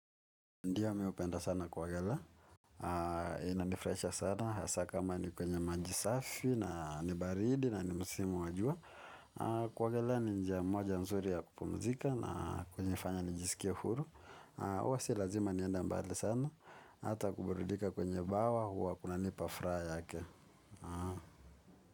Ndio mimi hupenda sana kuogelea ina ni furahisha sana, hasa kama ni kwenye maji safi, na ni baridi, na ni msimu wa jua. Kuogelea ni njia moja nzuri ya kupumzika na hunifanya nijisikia huru huwa si lazima nienda mbali sana, ata kuburidika kwenye bawa huwa kunanipa furaha yake.